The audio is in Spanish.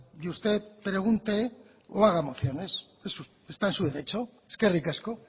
y usted pregunte o haga mociones está en su derecho eskerrik asko